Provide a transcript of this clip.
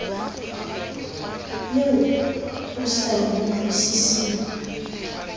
eo o sa e utlwisiseng